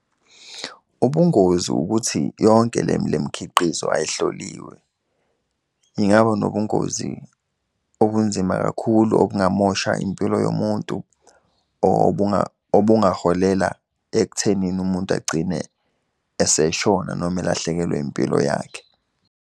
Ubungozi ukuthi yonke le mkhiqizo ayihloliwe. Ingaba nobungozi obunzima kakhulu obungamosha impilo yomuntu, obungaholela ekuthenini umuntu agcine eseshona noma elahlekelwe impilo yakhe.